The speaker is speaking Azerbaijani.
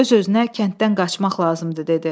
Öz-özünə kənddən qaçmaq lazımdır dedi.